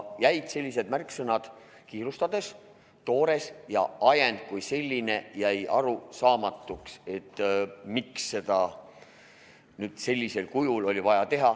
Jäid sellised märksõnad nagu "kiirustades" ja "toores" ning ajend kui selline jäi arusaamatuks, et miks seda sellisel kujul oli vaja teha.